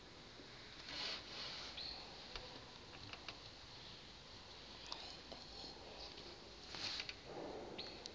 ingxelo ngo vuko